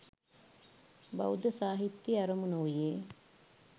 බෞද්ධ සාහිත්‍යයේ අරමුණ වූයේ